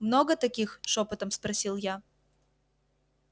много таких шёпотом спросил я